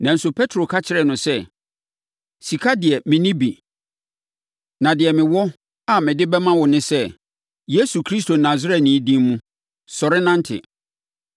Nanso, Petro ka kyerɛɛ no sɛ, “Sika de, menni bi; na deɛ mewɔ a mede bɛma wo ne sɛ, Yesu Kristo Nasareni din mu, sɔre nante!”